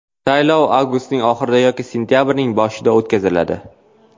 Saylov avgustning oxirida yoki sentabrning boshida o‘tkaziladi.